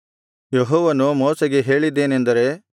ಯೆಹೋವನು ಮೋಶೆಗೆ ಹೇಳಿದ್ದೇನೆಂದರೆ